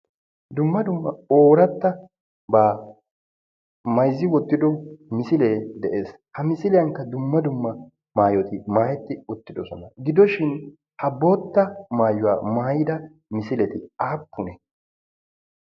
dumma dumma ooratta baa mayzzi wottido misilee de'ees. ha misiliyankka dumma dumma maayoti maahetti uttidosona gidoshin ha bootta maayuwaa maayida misileti aappune?